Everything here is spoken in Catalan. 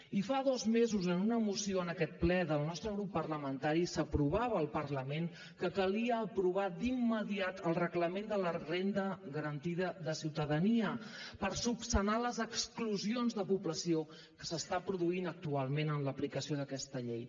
i fa dos mesos en una moció en aquest ple del nostre grup parlamentari s’aprovava al parlament que calia aprovar d’immediat el reglament de la renda garantida de ciutadania per resoldre les exclusions de població que s’estan produint actualment en l’aplicació d’aquesta llei